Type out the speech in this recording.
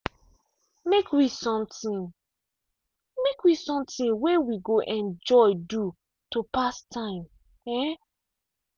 make we something make we something way we go enjoy do to pass time. um